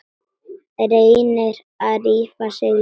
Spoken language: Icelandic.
Reynir að rífa sig lausan.